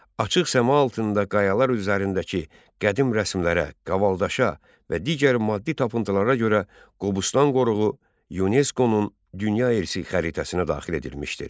Açıq səma altında qayalar üzərindəki qədim rəsmlərə, qavaldaşa və digər maddi tapıntılara görə Qobustan qoruğu YUNESKO-nun Dünya İrsi Xəritəsinə daxil edilmişdir.